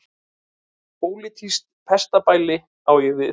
Pólitískt pestarbæli á ég við.